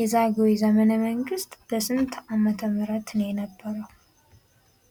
የዛግዌ ዘመነ መንግስት በስንት አመተ ምህረት ነበር የነበረው?